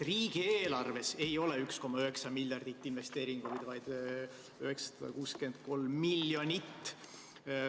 Riigieelarves ei ole 1,9 miljardit investeeringuid, vaid 963 miljonit.